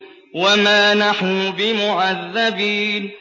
وَمَا نَحْنُ بِمُعَذَّبِينَ